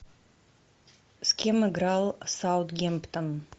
с кем играл саутгемптон